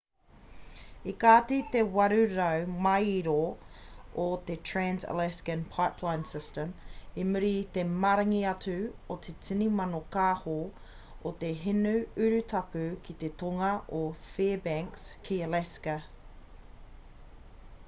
i kati te 800 māero o te trans-alaska pipeline system i muri i te maringi atu o te tini mano kāho o te hinu urutapu ki te tonga o fairbanks ki alaska